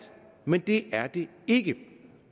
men det er det ikke